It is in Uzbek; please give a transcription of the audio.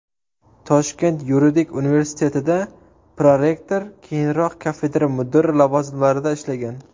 Toshkent yuridik universitetida prorektor, keyinroq kafedra mudiri lavozimlarida ishlagan.